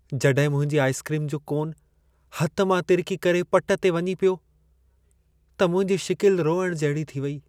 जॾहिं मुंहिंजी आइसक्रीम जो कोन हथ मां तिरिकी करे पट ते वञी पियो, त मुंहिंजी शिकिल रोइण जहिड़ी थी वेई।